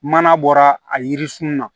Mana bɔra a yiri sun na